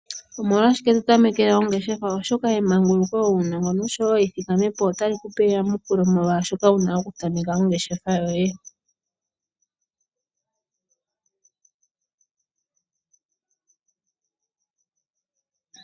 Omolwa shike nda tameke ongeshefa? Oshoka emanguluko wuna mono, sha weli adha otali kupe etompelo kutya omolwa shike wa tameke ongeshefa.